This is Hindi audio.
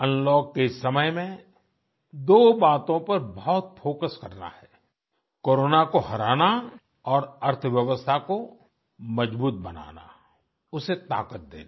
अनलॉक के इस समय में दो बातों पर बहुत फोकस करना है कोरोना को हराना और अर्थव्यवस्था को मजबूत बनाना उसे ताकत देना